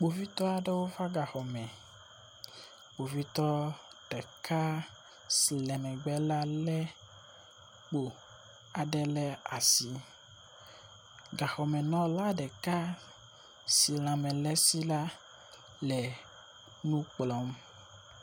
Kpovitɔ aɖewo va gaxɔ me. Kpovitɔ ɖeka si le megbe la lé kpo aɖe le asi. Gaxɔmenɔla ɖeka si lãme le esi la le nu kplɔm.